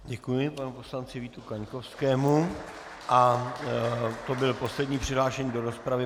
Děkuji panu poslanci Vítu Kaňkovskému a to byl poslední přihlášený do rozpravy.